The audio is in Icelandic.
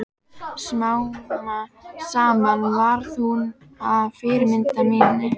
Smám saman varð hún að fyrirmyndinni minni.